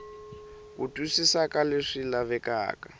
ku twisisa ka leswi lavekaka